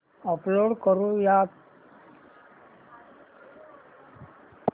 upload करुयात